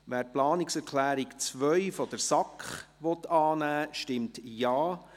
Wer die Planungserklärung 2 der SAK annehmen will, stimmt Ja,